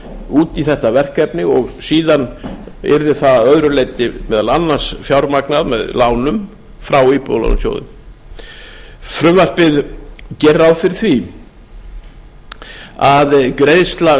út í þetta verkefni og síðan yrði það að öðru leyti meðal annars fjármagnað með lánum frá íbúðalánasjóði frumvarpið gerir ráð fyrir því að greiðsla